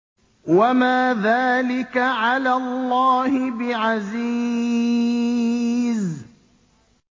وَمَا ذَٰلِكَ عَلَى اللَّهِ بِعَزِيزٍ